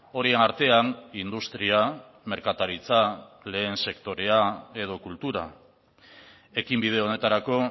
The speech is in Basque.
horien artean industria merkataritza lehen sektorea edo kultura ekinbide honetarako